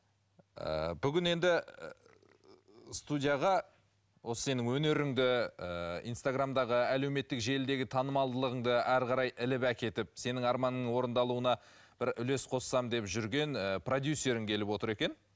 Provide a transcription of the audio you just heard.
ыыы бүгін енді студияға осы сенің өнеріңді ыыы инстаграмдағы әлеуметтік желідегі танымалдылығыңды әрі қарай іліп әкетіп сенің арманыңның орындалуына бір үлес қоссам деп жүрген ы продюссерің келіп отыр екен